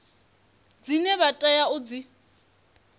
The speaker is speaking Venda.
dzine vha tea u dzi